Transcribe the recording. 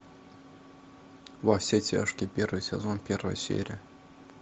во все тяжкие первый сезон первая серия